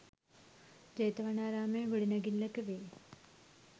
ජේතවනාරාමයේ ගොඩනැඟිල්ලක වෙයි.